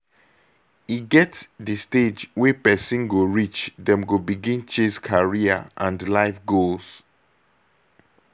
e get di stage wey person go reach dem go begin chase career and life goals